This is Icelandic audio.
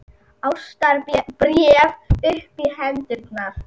ástarbréf upp í hendurnar!